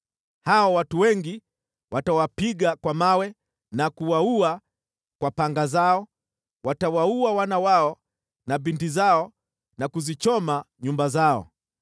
Hao watu wengi watawapiga kwa mawe na kuwaua kwa panga zao, watawaua wana wao na binti zao na kuzichoma nyumba zao.